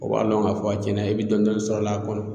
O b'a dɔn k'a fɔ a tiɲɛ na i bɛ dɔɔnin-dɔɔnin sɔrɔ a kɔnɔ